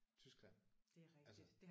Tyskland altså